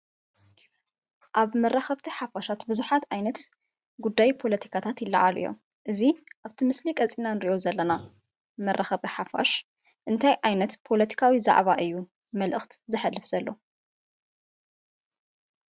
ኣብ መራኸብቲ ሓፋሻት ብዙሓት ዓይነት ጉዳይ ፖለቲካታት ይለዓሉ እዮም። እዚ ካፍቲ ምስሊ ቀፂልና ንሪኦ ዘለና መራኸቢ ሓፋሽ እንታይ ዓይነት ፖለቲካዊ ዛዕባ እዩ መልእኽቲ ዘሕልፍ ዘሎ?